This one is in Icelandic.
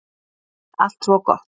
Allt svo gott